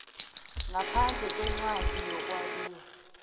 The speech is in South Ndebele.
ngaphandle kwencwadi yokwabiwa